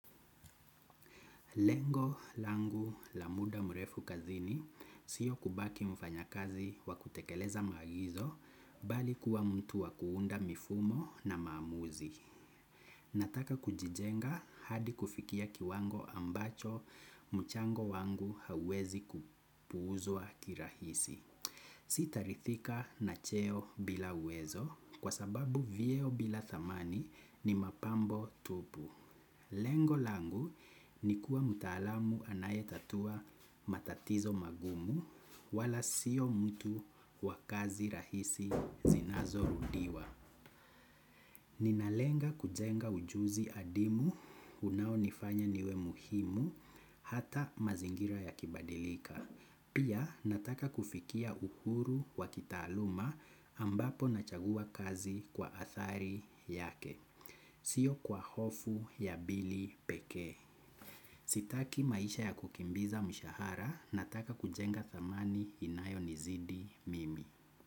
Lengo langu la muda mrefu kazini siyo kubaki mfanya kazi wa kutekeleza magizo bali kuwa mtu wa kuunda mifumo na maamuzi. Nataka kujijenga hadi kufikia kiwango ambacho mchango wangu hauwezi kupuuzwa kirahisi. Sitarithika na cheo bila uwezo kwa sababu vyeo bila thamani ni mapambo tupu. Lengo langu ni kuwa mtalamu anaye tatua matatizo magumu wala siyo mtu wa kazi rahisi zinazorudiwa. Ninalenga kujenga ujuzi adhimu unaonifanya niwe muhimu hata mazingira yakibadilika. Pia nataka kufikia uhuru wa kitaaluma ambapo nachagua kazi kwa athari yake. Siyo kwa hofu ya bili peke. Sitaki maisha ya kukimbiza mshahara nataka kujenga thamani inayo nizidi mimi.